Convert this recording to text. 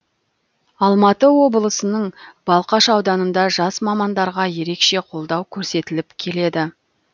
алматы облысының балқаш ауданында жас мамандарға ерекше қолдау көрсетіліп келеді